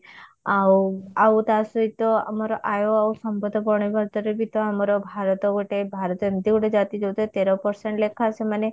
ଆଉ ଆଉ ତା ସହିତ ଆମର ଆୟ ଆଉ ସମ୍ବଦ ବଣିବାଦରେ ବି ତ ଆମର ଭାରତ ଗୋଟେ ଭାରତ ଏମତି ଗୋଟେ ଜାତି ଯଉଥିରେ ତେର percent ଲେଖା ସେମାନେ